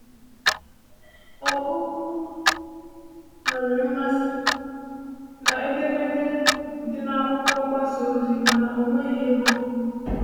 Opoku nwere mmasị na edemede dị n’akwụkwọ mgbasa ozi mana ọ nweghị ego.